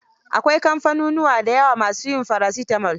Akwai kamfanunuwa da yawa ma su yin paracetamol.